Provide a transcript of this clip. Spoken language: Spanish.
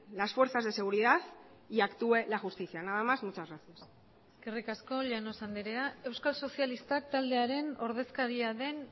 las fuerzas de seguridad y actúe la justicia nada más muchas gracias eskerrik asko llanos andrea euskal sozialistak taldearen ordezkaria den